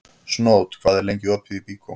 Snót, hvað er lengi opið í Byko?